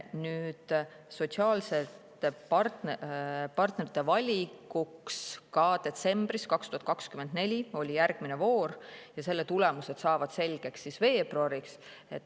Nüüd, sotsiaalsete partnerite valikuks oli ka detsembris 2024 üks voor ja selle konkursi tulemused saavad selgeks veebruariks.